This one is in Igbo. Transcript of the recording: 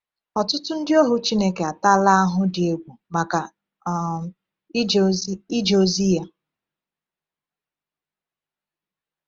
Ọtụtụ ndị ohu Chineke atala ahụhụ dị egwu maka um ije ozi ije ozi Ya.